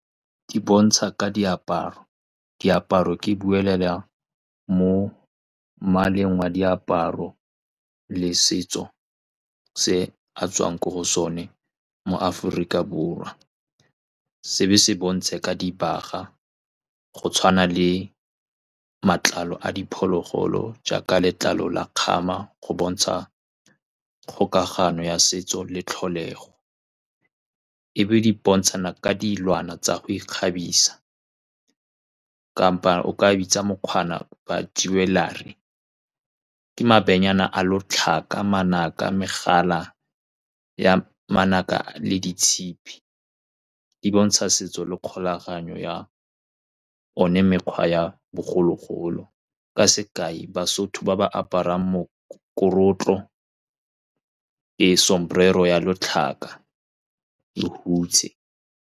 Di bontsha ka diaparo, diaparo ke buelela mo mmaleng wa diaparo le setso se a tswang ko go sone mo Aforika Borwa. Se be se bontshe ka dibaga, go tshwana le matlalo a diphologolo jaaka letlalo la kgama, go bontsha kgokagano ya setso le tlholego. E be di bontshana ka dilwana tsa go ikgabisa kapa o ka bitsa ba jewellery, ke mabenyana a lotlhaka, manaka, megala ya manaka le ditshipi. Di bontsha setso le kgolaganyo ya one mekgwa ya bogologolo. Ka sekai, baSotho ba ba aparang mokorotlo ya letlhaka le hutshe.